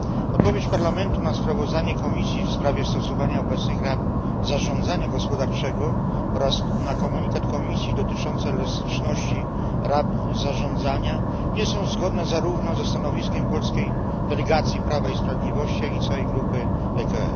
Odpowiedź Parlamentu na sprawozdanie Komisji w sprawie stosowania obecnych ram zarządzania gospodarczego oraz na komunikat Komisji dotyczący elastyczności ram zarządzania nie są zgodne zarówno ze stanowiskiem polskiej delegacji Prawa i Sprawiedliwości, jak i całej grupy ECR.